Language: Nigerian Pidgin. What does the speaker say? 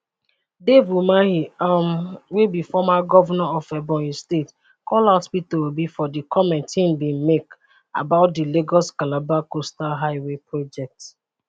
dave umahi um wey be former govnor of ebonyi state call out peter obi for di comment im bin make about di lagoscalabar coastal higway project